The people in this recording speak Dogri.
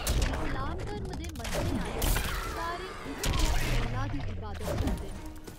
इस्लाम धर्म दे मन्नने आह्‌ले सारे इक्क गै 'अल्लाह' दी इबादत करदे न।